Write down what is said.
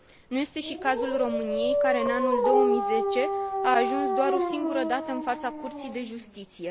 Nu este și cazul României, care, în anul 2010, a ajuns doar o singură dată în fața Curții de Justiție.